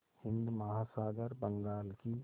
हिंद महासागर बंगाल की